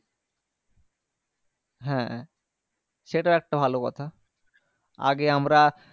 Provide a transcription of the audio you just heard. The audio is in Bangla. হ্যাঁ সেটাও একটা ভালো কথা আগে আমরা